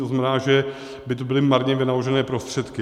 To znamená, že by to byly marně vynaložené prostředky.